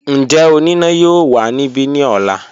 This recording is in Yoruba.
Njẹ onina yoo wa nibi ni ọla?